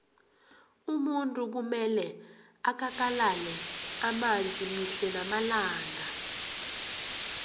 umuntu kumele akakalale amanzi mihle namalanga